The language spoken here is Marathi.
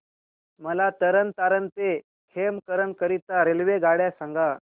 मला तरण तारण ते खेमकरन करीता रेल्वेगाड्या सांगा